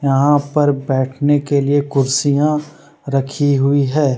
यहाँ पर बैठने के लिए कुर्सियां रखी हुई है।